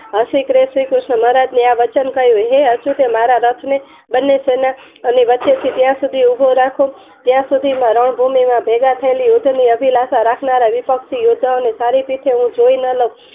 હસી શ્રી ક્રિષ્ન એ આ વચન કહ્યું હે અસુ તે મારા રથને બને સેનાએ અને વચ્ચે થી ત્યાં સુધી ઉભો રાખું ત્યાં સુધીમાં રણ ભૂમિ માં ભેગા થયેલા યુદ્ધ ની અભિલસા રાખનાર વિપક્ષી યોદ્ધા ઓ ને સારી પીઠે હું જોય ન લવ